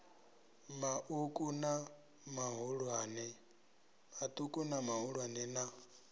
ma uku na mahulwane na